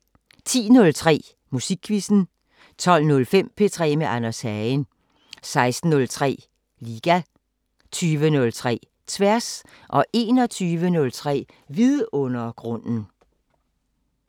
10:03: Musikquizzen 12:05: P3 med Anders Hagen 16:03: Liga 20:03: Tværs 21:03: Vidundergrunden